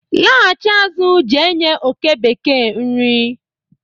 laghachi azụ je nye oke bekee nri